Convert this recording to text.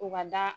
U ka da